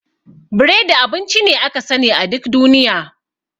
Biredi abinci ne aka sani a duk duniya.